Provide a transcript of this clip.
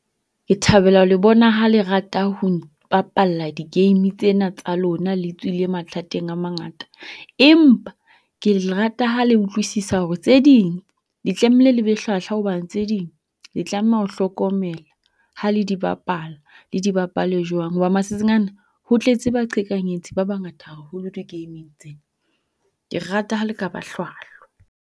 Ke thabela ho le bona ha le rata ho mpapalla di-game tsena tsa lona, le tswile mathlateng a mangata, empa ke lerata ha le utlwisisa hore tse ding di tlamehile le be hlwahlwa ho tse ding le tlameha ho hlokomela ha le di bapala. Le di bapale jwang hoba matsatsing ana ho tletse baqhekanyetsi ba bangata haholo di game-ing tsena, ke rata ha le ka ba hlwahlwa.